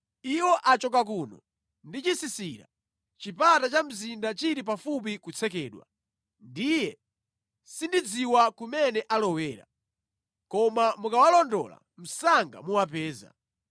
Iwo achoka kuno ndi chisisira, chipata cha mzinda chili pafupi kutsekedwa. Ndiye sindidziwa kumene alowera. Koma mukawalondola msanga muwapeza.”